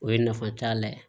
O ye nafa t'a la ye